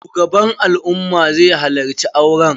Shugaban al'umma zai halacci auren